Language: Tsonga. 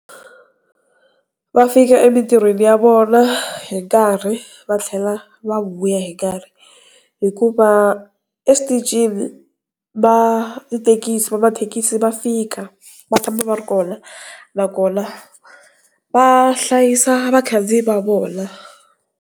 Va fika emintirhweni ya vona hi nkarhi, va tlhela va vuya hi nkarhi. Hikuva eswitichini va mathekisi vamathekisi va fika va tshama va ri kona nakona va hlayisa vakhandziyi va vona.